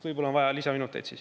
Võib-olla on vaja lisaminuteid.